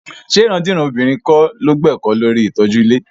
Ṣé ìrandíran obìnrin kọ́ ló gbẹ́kọ̀ọ́ lórí ìtọ́jú ilé?